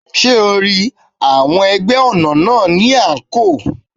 Ṣé o ri, àwọn ẹgbẹ́ ọ̀nà náà ni àǹkóò.